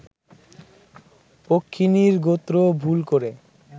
পক্ষিণীর গোত্র ভুল করে